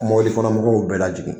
Mɔbili kɔnɔ mɔgɔw bɛɛ la jigin.